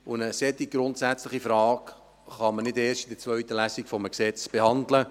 Eine solch grundsätzliche Frage kann man nicht erst in der zweiten Lesung eines Gesetzes behandeln.